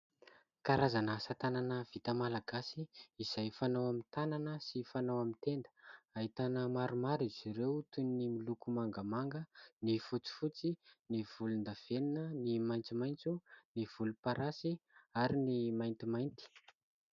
Karazana asa tanana vita malagasy izay fanao amin'ny tanana sy fanao amin'ny tenda. Ahitana maromaro izy ireo toy ny miloko mangamanga, ny fotsifotsy, ny volondavenona, ny maitsomaitso, ny volomparasy ary ny maintimainty.